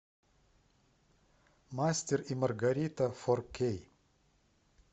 мастер и маргарита фор кей